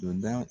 Don da